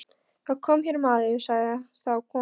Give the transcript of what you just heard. Það kom hér maður, sagði þá konan.